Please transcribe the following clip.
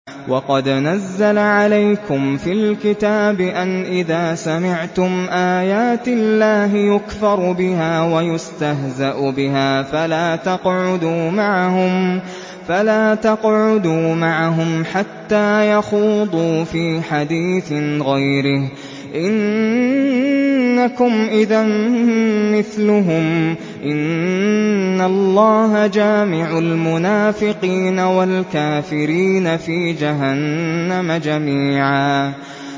وَقَدْ نَزَّلَ عَلَيْكُمْ فِي الْكِتَابِ أَنْ إِذَا سَمِعْتُمْ آيَاتِ اللَّهِ يُكْفَرُ بِهَا وَيُسْتَهْزَأُ بِهَا فَلَا تَقْعُدُوا مَعَهُمْ حَتَّىٰ يَخُوضُوا فِي حَدِيثٍ غَيْرِهِ ۚ إِنَّكُمْ إِذًا مِّثْلُهُمْ ۗ إِنَّ اللَّهَ جَامِعُ الْمُنَافِقِينَ وَالْكَافِرِينَ فِي جَهَنَّمَ جَمِيعًا